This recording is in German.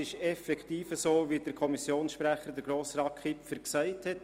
Es ist effektiv so, wie Kommissionsprecher, Grossrat Kipfer, gesagt hat.